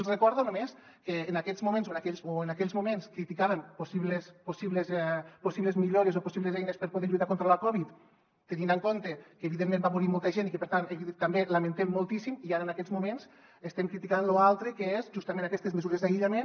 els recordo només que en aquells moments criticàvem possibles millores o possibles eines per poder lluitar contra la covid tenint en compte que evidentment va morir molta gent i que per tant també ho lamentem moltíssim i ara en aquests moments estem criticant lo altre que són justament aquestes mesures d’aïllament